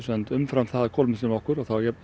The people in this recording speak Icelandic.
umfram það að kolefnisjafna okkur